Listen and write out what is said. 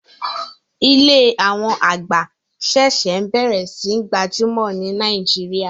Ilé àwọn àgbà ṣẹ̀ṣẹ̀ bẹ̀rẹ̀ sí n gbajúmọ̀ ní Nàìjíríà